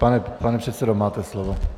Pane předsedo, máte slovo.